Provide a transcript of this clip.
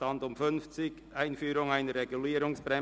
Der Bericht wurde von der SAK vorberaten.